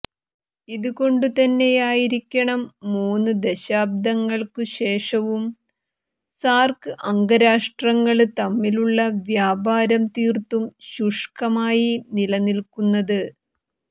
ഇതുകൊണ്ടുതന്നെയായിരിക്കണം മൂന്ന് ദശാബ്ദങ്ങള്ക്കുശേഷവും സാര്ക് അംഗരാഷ്ട്രങ്ങള് തമ്മിലുള്ള വ്യാപാരം തീര്ത്തും ശുഷ്കമായി നിലനില്ക്കുന്നത്